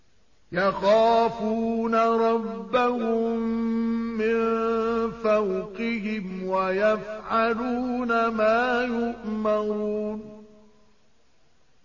يَخَافُونَ رَبَّهُم مِّن فَوْقِهِمْ وَيَفْعَلُونَ مَا يُؤْمَرُونَ ۩